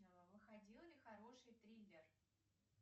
выходил ли хороший триллер